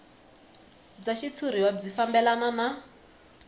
bya xitshuriwa byi fambelana na